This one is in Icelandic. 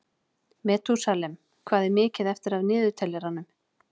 Metúsalem, hvað er mikið eftir af niðurteljaranum?